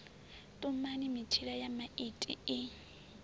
tumani mitshila ya maiti i